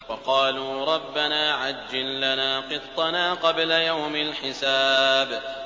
وَقَالُوا رَبَّنَا عَجِّل لَّنَا قِطَّنَا قَبْلَ يَوْمِ الْحِسَابِ